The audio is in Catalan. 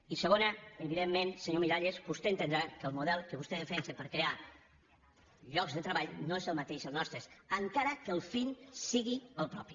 i segon evidentment senyor miralles vostè entendrà que el model que vostè defensa per crear llocs de treball no és el mateix que el nostre encara que el fi sigui el propi